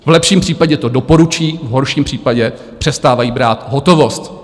V lepším případě to doporučí, v horším případě přestávají brát hotovost (?).